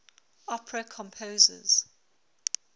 opera composers